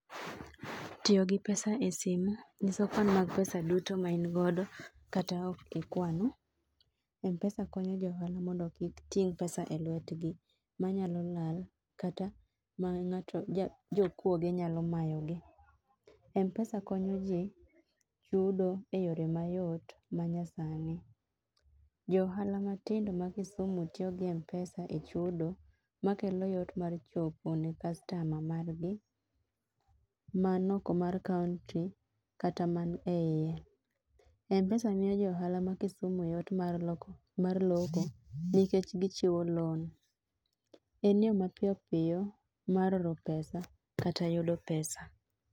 Tiyo gi pesa e simo ng'iso kwan pesa duto ma in godo kata ok ikwano. Mpesa konyo jo ohala mondo kik ting' pesa e lwetgi ma nyalo lal kata ma jo kuoge nyalo mayo gi. Mpesa konyo ji chudo e yore ma yot ma nyasani. Jo ohala matindo ma kisumu tiyo gi mpesa e chudo ma kelo yot mar chopo ne kastama mar gi man oko mar kaunti kata ma ni e iye. Mpesa miyo jo ohala ma kisumu yot mar lokoo mar loko nikech gi chiwo loan. en yo mar piyo piyo mar oro pesa kata yudo pesa.